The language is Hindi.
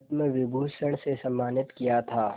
पद्म विभूषण से सम्मानित किया था